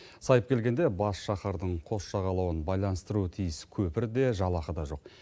сайып келгенде бас шаһардың қос жағалауын байланыстыруы тиіс көпір де жалақы да жоқ